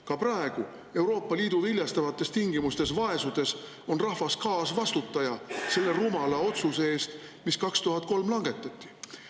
Ka praegu Euroopa Liidu viljastavates tingimustes vaesudes on rahvas kaasvastutaja selle rumala otsuse eest, mis 2003 langetati.